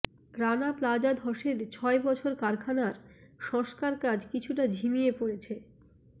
Rana Plaza ধসের ছয় বছর কারখানার সংস্কারকাজ কিছুটা ঝিমিয়ে পড়েছে